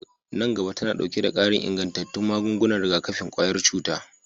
Nan gaba tana ɗauke da ƙarin ingantattun magungunan rigakafin ƙwayar cuta